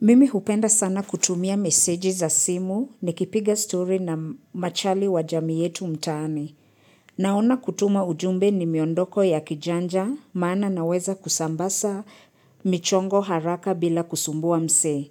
Mimi hupenda sana kutumia meseji za simu ni kipiga story na machali wajami yetu mtaani. Naona kutuma ujumbe ni miondoko ya kijanja, maana naweza kusambasa michongo haraka bila kusumbua mse.